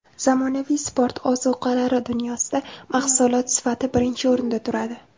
Zamonaviy sport ozuqalari dunyosida mahsulot sifati birinchi o‘rinda turadi.